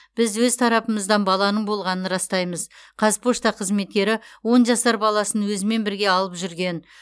біз өз тарапымыздан баланың болғанын растаймыз қазпошта қызметкері он жасар баласын өзімен бірге алып жүрген